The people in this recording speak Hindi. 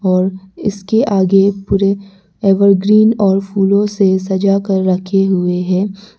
और इसके आगे पूरे एवरग्रीन और फूलों से सजा कर रखे हुए हैं।